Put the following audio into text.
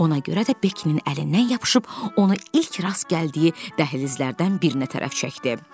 Ona görə də Bekinin əlindən yapışıb onu ilk rast gəldiyi dəhlizlərdən birinə tərəf çəkdi.